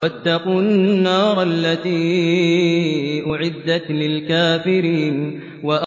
وَاتَّقُوا النَّارَ الَّتِي أُعِدَّتْ لِلْكَافِرِينَ